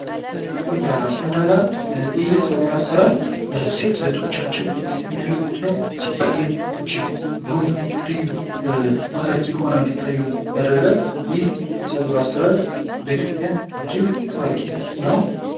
ቁንዳላ:- ቁንዳላ ይህ የፀጉር አሰራር ሴት እህቶቻችን የሚያደርጉት ነዉ። ሲታይም እጀግ ዉብ ልዩ ማራኪ ሆነዉ እንዲታዩ ያደርጋል። ይህ የፀጉር አሰራር በኢትዮጵያ ታዋቂ ነዉ።